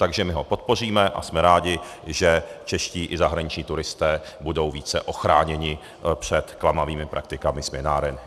Takže my ho podpoříme a jsme rádi, že čeští i zahraniční turisté budou více ochráněni před klamavými praktikami směnáren.